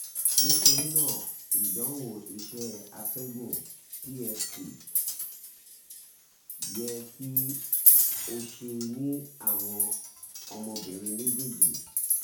nitorina idanwo iṣẹ atẹgun (pft) yẹ ki o ṣe ni awọn ọmọbirin mejeeji